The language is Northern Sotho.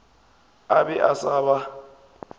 a be a sa ba